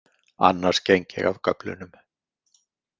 Annars geng ég af göflunum.